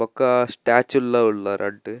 ಬೊಕ್ಕ ಸ್ಟ್ಯಾಚ್ಯು ಲ್ಲ ಉಲ್ಲ ರಡ್ಡ್.